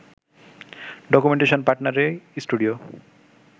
documentation partner ই studio